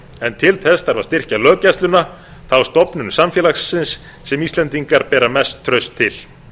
en til þess þarf að styrkja löggæsluna það er stofnun samfélagsins sem íslendingar bera mest traust til